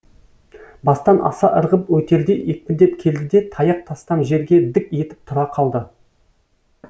бастан аса ырғып өтердей екпіндеп келді де таяқ тастам жерге дік етіп тұра қалды